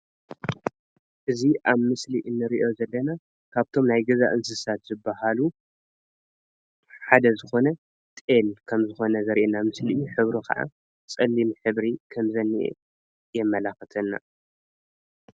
እዚ ኣብ ምስሊ እንርእዮ ዘለና ካብቶም ናይ ገዛ እንስሳት ዝባሃሉ ሓደ ዝኾነ ጤል ከምዝኾነ ዘርእየና ምስሊ እዩ። ሕብሩ ከዓ ፀሊም ሕብሪ ከምዝኒአ የመላክተና።